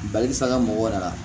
Baliku saga mɔgɔ yɛrɛ la